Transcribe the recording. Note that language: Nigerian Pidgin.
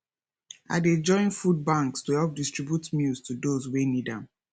i dey join food banks to help distribute meals to those wey need am